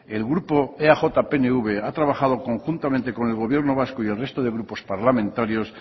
el grupo eaj pnv ha trabajado conjuntamente con el gobierno vasco y el resto de grupos parlamentarios